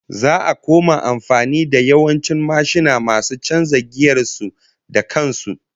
Za'a koma amfani da yawancin mashina masu chanza giyar su da kan su